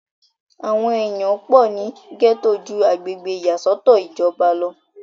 àwọn èèyàn pọ̀ ní gẹ́tò ju agbègbè ìyàsọ́tọ̀ ìjọba lọ